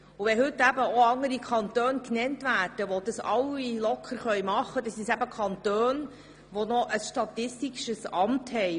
Wenn heute andere Kantone genannt werden, die das locker machen können, dann handelt es sich um Kantone, die noch ein statistisches Amt haben.